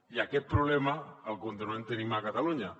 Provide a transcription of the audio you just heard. i aquest problema el continuem tenint a catalunya